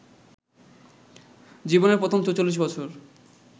জীবনের প্রথম ৪৪ বছর